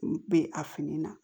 U bɛ a fini na